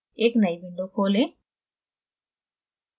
एक नयी window खोलें